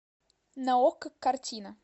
на окко картина